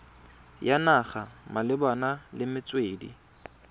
ya naga malebana le metswedi